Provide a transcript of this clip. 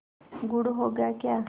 गुड़ होगा क्या